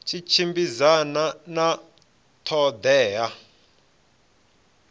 tshi tshimbidzana na ṱho ḓea